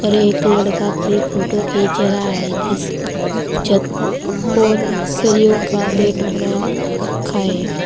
और एक लड़का अपनी फोटो खींच रहा है। जिस जब और सरियों का गेट बना खा है।